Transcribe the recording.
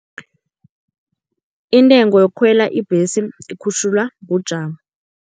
Intengo yokukhwela ibhesi ikhutjhulwa bujamo.